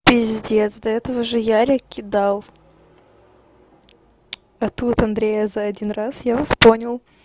пиздец до этого же ярик кидал а тут андрея за один раз я вас понял